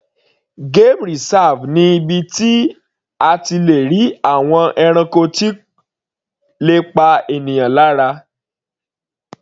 Game reserve ni ibi tí a ti le rí àwọn ẹranko tí kò le pa ènìyàn lára.